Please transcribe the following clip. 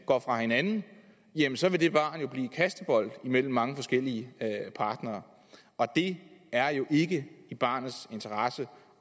går fra hinanden jamen så vil det barn blive kastebold mellem mange forskellige partnere det er jo ikke i barnets interesse